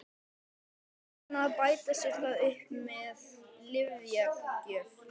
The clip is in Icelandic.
Margir reyna að bæta sér það upp með lyfjagjöf.